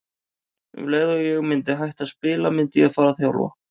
Um leið og ég myndi hætta að spila myndi ég fara að þjálfa.